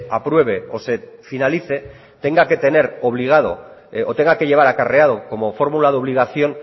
apruebe o se finalice tenga que tener obligado o tenga que llevar acarreado como fórmula de obligación